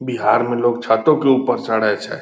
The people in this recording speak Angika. बिहार मे लोग छतो के ऊपर चढ़ै छै।